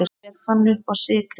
Hver fann uppá sykri?